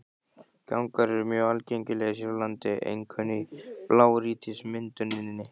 Gangar eru mjög algengir hér á landi, einkum í blágrýtismynduninni.